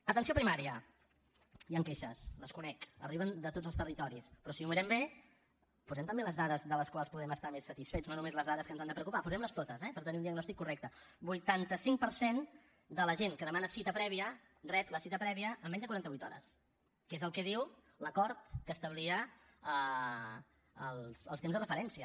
atenció primària hi han queixes les conec arriben de tots els territoris però si ho mirem bé posem també les dades de les quals podem estar més satisfets no només les dades que ens han de preocupar posem les totes eh per tenir un diagnòstic correcte vuitanta cinc per cent de la gent que demana cita prèvia rep la cita prèvia en menys de quaranta vuit hores que és el que diu l’acord que establia els temps de referència